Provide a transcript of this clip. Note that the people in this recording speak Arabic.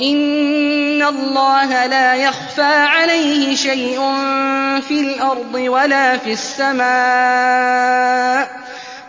إِنَّ اللَّهَ لَا يَخْفَىٰ عَلَيْهِ شَيْءٌ فِي الْأَرْضِ وَلَا فِي السَّمَاءِ